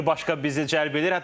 Bir başqa bizi cəlb eləyir.